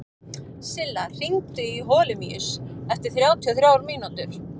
Silla, hringdu í Holemíus eftir þrjátíu og þrjár mínútur.